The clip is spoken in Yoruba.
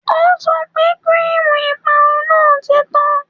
O sọ pé kíríìmù ìparun náà ti tán